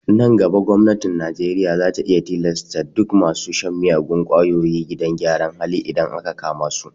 Nan gaba gwamnatin najeriya za ta iya tilasta kai duk masu shan miyagun kwayoyi gidan gyara idan aka kama su